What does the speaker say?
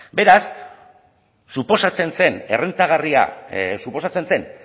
beraz suposatzen zen errentagarria suposatzen zen